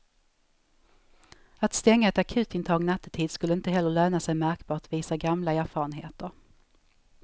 Att stänga ett akutintag nattetid skulle inte heller löna sig märkbart, visar gamla erfarenheter.